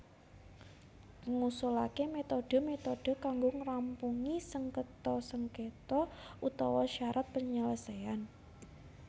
Ngusulaké metode metode kanggo ngrampungi sengketa sengketa utawa syarat penyelesaian